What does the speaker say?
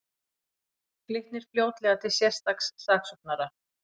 Glitnir fljótlega til sérstaks saksóknara